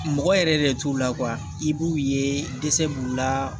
Mɔgɔ yɛrɛ de t'u la i b'u ye dɛsɛ b'u la